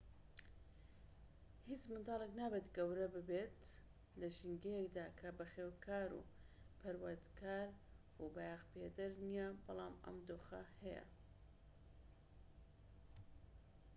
هیچ منداڵێك نابێت گەورە ببێت لە ژینگەیەکدا کە بەخێوکار و پەروەردەکار و بایەخپێدەر نیە بەڵام ئەم دۆخە هەیە